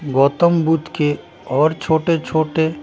गौतम बुद्ध के और छोटे-छोटे--